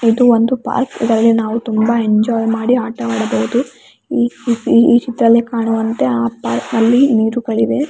ಇದು ಒಂದು ಪಾರ್ಕ್ ಇದರಲ್ಲಿ ನಾವು ತುಂಬಾ ಎಂಜೋಯ್ ಮಾಡಿ ಆಟ ಆಡಬಹುದು ಈ ಚಿತ್ರದಲ್ಲಿ ಕಾಣುವಂತೆ ಆ ಪಾರ್ಕ್ ನೀರುಗಳಿವೆ .